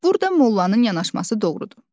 Burda Mollanın yanaşması doğrudur.